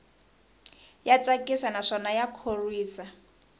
ya tsakisa naswona ya khorwisa